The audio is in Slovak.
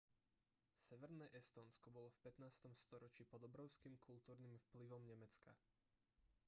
severné estónsko bolo v 15. storočí pod obrovským kultúrnym vplyvom nemecka